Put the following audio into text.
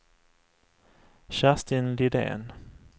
Kerstin Lidén